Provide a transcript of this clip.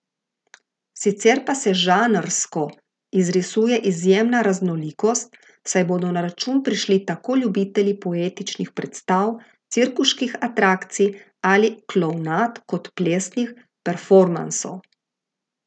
Sicer pa se žanrsko izrisuje izjemna raznolikost, saj bodo na račun prišli tako ljubitelji poetičnih predstav, cirkuških atrakcij ali klovnad kot plesnih performansov.